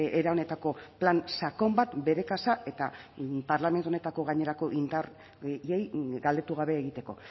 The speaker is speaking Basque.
era honetako plan sakon bat bere kasa eta parlamentu honetako gainerako indarrei galdetu gabe egiteko